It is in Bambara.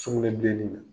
Sugunɛbilenni